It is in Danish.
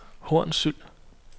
Hornsyld